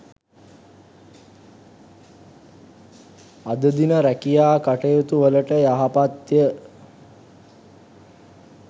අද දින රැකියා කටයුතුවලට යහපත්ය.